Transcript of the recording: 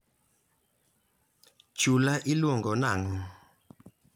Chulano iluongo nang'o?